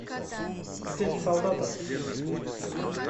отец солдата